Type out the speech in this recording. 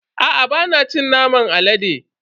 Aa bana cin naman alade.